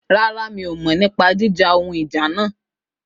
Rárá, mi ò mọ̀ nípa jíjà ohun ìjà náà